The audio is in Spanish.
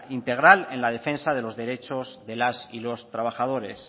integral en la defensa de los derechos de las y los trabajadores